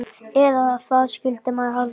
Eða það skyldi maður halda.